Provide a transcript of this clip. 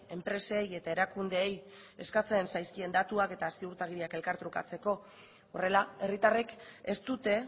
enpresei eta erakundeei eskatzen zaizkien datuak eta ziurtagiriak elkar trukatzeko horrela herritarrek ez dute